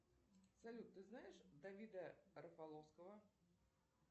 салют ты знаешь давида рафаловского